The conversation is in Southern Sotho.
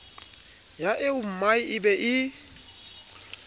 ya eommae e be e